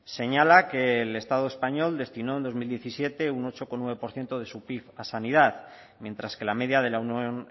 señala que el estado español destinó en dos mil diecisiete un ocho coma nueve por ciento de su pib a sanidad mientras que la media de la unión